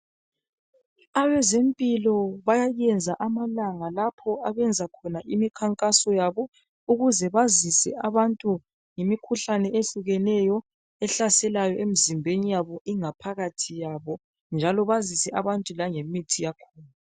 Abezempilo bayayenza amalanga lapho abenza khona imikhankaso yabo ukuze bazise abantu ngemikhuhlane ehlukeneyo ehlasela emzimbeni yabo ingaphakathi yabo njalo bazise abantu langemithi yakhona.